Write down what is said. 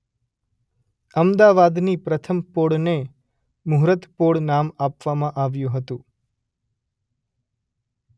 અમદાવાદની પ્રથમ પોળને મૂહર્ત પોળ નામ આપવામાં આવ્યું હતું.